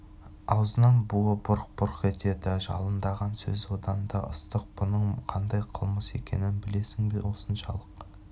аузынан буы бұрқ-бұрқ етеді жалындаған сөз одан да ыстық бұның қандай қылмыс екенін білесің бе осыншалық